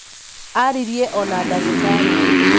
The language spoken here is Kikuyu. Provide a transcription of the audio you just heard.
arĩrire ona ndagĩtarĩ